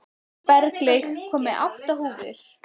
Berglaug, ég kom með átta húfur!